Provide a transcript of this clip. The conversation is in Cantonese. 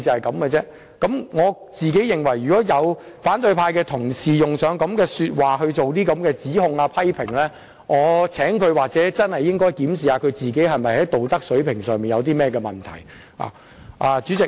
我個人認為，反對派同事用上這類說話來作出指控和批評，他應檢視自己的道德水平是否有問題。